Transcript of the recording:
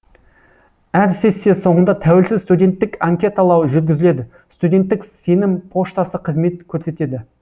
әр сессия соңында тәуелсіз студенттік анкеталау жүргізіледі студенттік сенім поштасы қызмет көрсетеді